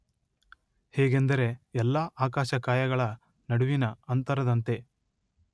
ಹೇಗೆಂದರೆ ಎಲ್ಲಾ ಆಕಾಶಕಾಯಗಳ ನಡುವಿನ ಅಂತರದಂತೆ.